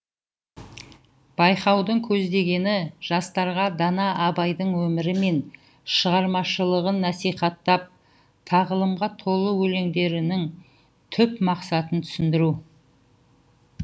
байқаудың көздегені жастарға дана абайдың өмірі мен шығармашылығын насихаттап тағылымға толы өлеңдерінің түп мақсатын түсіндіру